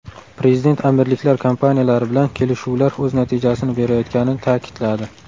Prezident Amirliklar kompaniyalari bilan kelishuvlar o‘z natijasini berayotganini ta’kidladi.